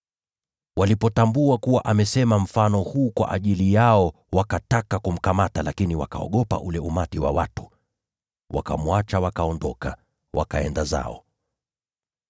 Walipotambua kuwa amesema mfano huo kwa ajili yao, wakataka kumkamata, lakini wakaogopa ule umati wa watu. Wakamwacha, wakaondoka, wakaenda zao.